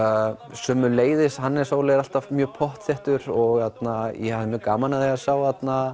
sömuleiðis Hannes Óli er alltaf mjög pottþéttur og ég hafði mjög gaman af því að sjá